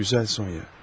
Gözəl Sonya.